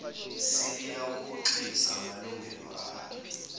seliyawahoxisa amalungelo alo